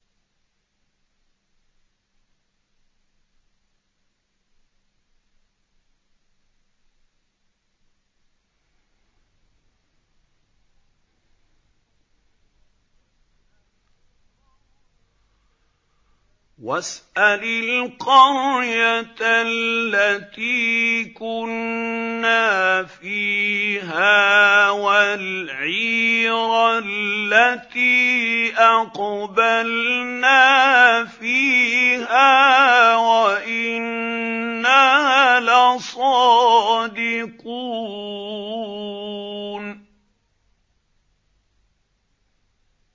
وَاسْأَلِ الْقَرْيَةَ الَّتِي كُنَّا فِيهَا وَالْعِيرَ الَّتِي أَقْبَلْنَا فِيهَا ۖ وَإِنَّا لَصَادِقُونَ